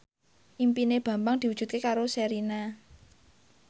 impine Bambang diwujudke karo Sherina